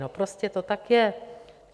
No, prostě to tak je.